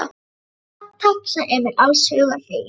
Já, takk, sagði Emil alls hugar feginn.